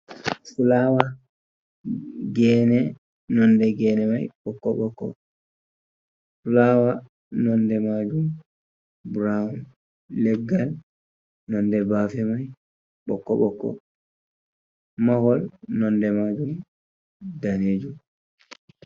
Flawa, gene, nonde gene mai ɓokko-ɓokko. Fulawa nonde majum brown, leggal nonde bafe mai ɓokko-ɓokko, mahol nonde muɗum danejum.